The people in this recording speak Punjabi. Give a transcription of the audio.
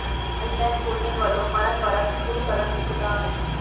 ਲਾਈਨਮੈੱਨ ਯੂਨੀਅਨ ਵੱਲੋਂ ਮਰਨ ਵਰਤ ਸ਼ੁਰੂ ਕਰਨ ਦੀ ਚਿਤਾਵਨੀ